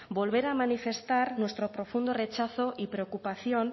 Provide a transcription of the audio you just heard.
volver a manifestar nuestro profundo rechazo y preocupación